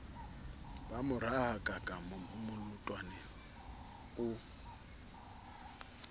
ba mo rahakaka molatoane o